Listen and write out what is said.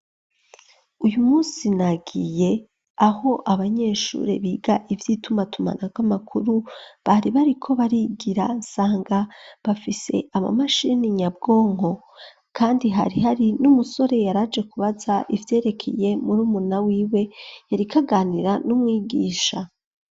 Uyu munsi nagiye aho abanyeshure biga ivy'itumatumanako amakuru bari bariko barigira nsanga bafise ama mashini nyabwongo, kandi hari hari n'umusore yari aje kubaza ivyerekeye murumuna wiwe yariko aganira n'umwigisha.